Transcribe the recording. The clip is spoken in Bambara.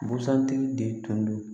Busan tigi de tun don